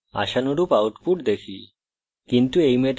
যেমনকি আমরা দেখতে পারি output হল আশানুরূপ